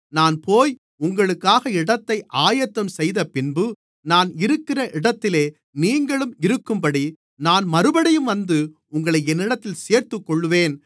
நான் போய் உங்களுக்காக இடத்தை ஆயத்தம்செய்தபின்பு நான் இருக்கிற இடத்திலே நீங்களும் இருக்கும்படி நான் மறுபடியும் வந்து உங்களை என்னிடத்தில் சேர்த்துக்கொள்ளுவேன்